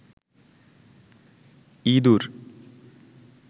ইদুর